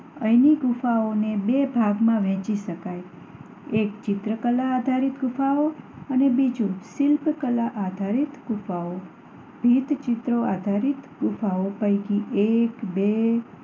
અહીંની ગુફાઓને બે ભાગમાં વહેંચી શકાય એક ચિત્રકલા આધારિત ગુફાઓ અને બીજું શિલ્પકલા આધારિત ગુફાઓ. ભીંતચિત્રો આધારિત ગુફાઓ પૈકી એક બે